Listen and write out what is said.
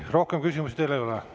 Rohkem küsimusi teile ei ole.